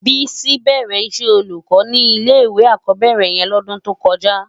Bisi bèrè iṣè ólúkò ni ilé iwé ákòbèrè yèn lòdun tókòjá